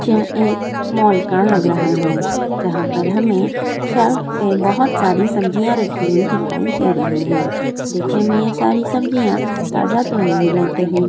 सब्जियाँ एक मोल का लग रहा है जहाँ पर हमें शल्फ पे बहुत सारी सब्जियाँ रखी हुयी दिखाई दे रही है देखने में यह सारी सब्जियाँ ताजा तो नहीं लग रही है।